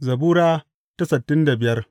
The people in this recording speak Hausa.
Zabura Sura sittin da biyar